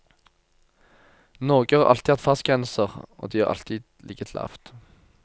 Norge har alltid hatt fartsgrenser, og de har alltid ligget lavt.